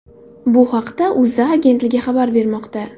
Bu haqda O‘zA agentligi xabar bermoqda .